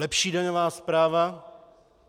Lepší daňová správa?